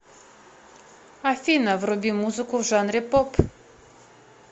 афина вруби музыку в жанре поп